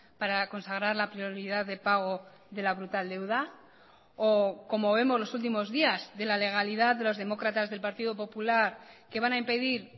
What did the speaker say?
para consagrar la prioridad de pago de la brutal deuda o como vemos los últimos días de la legalidad de los demócratas del partido popular que van a impedir